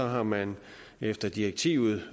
har man efter direktivet